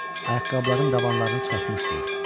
Ayaqqabıların dabanlarını çıxartmışdılar.